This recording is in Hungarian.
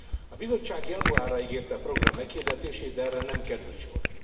A Bizottság januárra ígérte a program meghirdetését, de erre nem került sor.